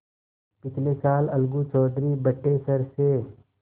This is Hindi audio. पिछले साल अलगू चौधरी बटेसर से